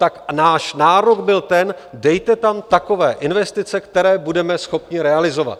Tak náš názor byl ten: dejte tam takové investice, které budeme schopni realizovat.